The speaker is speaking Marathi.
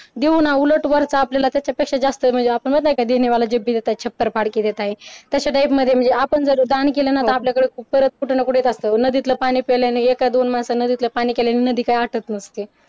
देऊ ना उलट वरचा आपल्याला त्याच्या पेक्षा जास्त म्हणजे तशा type मध्ये म्हणजे आपण दान केलं तर आपल्याकडे कुठे ना कुठे येत असतं नदीतलं पाणी प्यायल्याने एक्का दोन माणसं तिथलं पाणी काय आटत नाही.